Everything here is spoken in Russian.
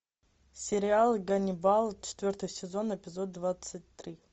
сериал ганнибал четвертый сезон эпизод двадцать три